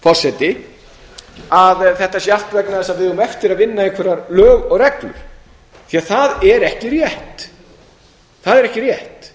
forseti að þetta sé allt vegna þess að við eigum eftir að vinna einhver lög og reglur því það er ekki rétt